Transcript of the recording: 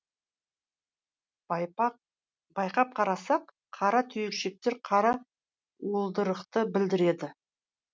байқап қарасақ қара түйіршіктер қара уылдырықты білдіреді